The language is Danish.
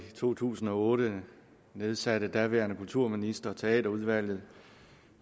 to tusind og otte nedsatte den daværende kulturminister teaterudvalget